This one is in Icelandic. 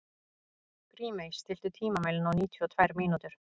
Grímey, stilltu tímamælinn á níutíu og tvær mínútur.